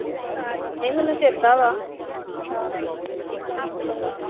ਨਈਂ ਮੈਨੂੰ ਚੇਤਾ ਵਾ ਹਮ